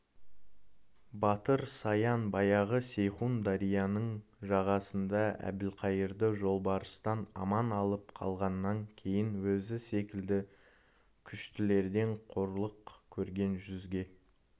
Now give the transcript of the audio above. батыр саян баяғы сейхун дарияның жағасында әбілқайырды жолбарыстан аман алып қалғаннан кейін өзі секілді күштілерден қорлық көрген жүзге